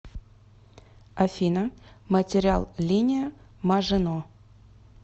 афина материал линия мажино